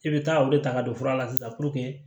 I bɛ taa olu ta ka don fura la sisan